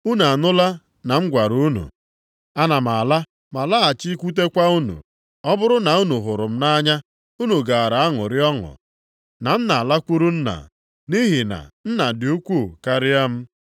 “Unu anụla na m gwara unu, ‘Ana m ala, ma lọghachikwutekwa unu.’ Ọ bụrụ na unu hụrụ m nʼanya, unu gaara aṅụrị ọṅụ na m na-alakwuru Nna, nʼihi na Nna dị ukwuu karịa m.